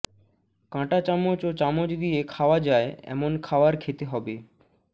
কাঁটা চামচ ও চামচ দিয়ে খাওয়া যায় এমন খাওয়ার খেতে হবে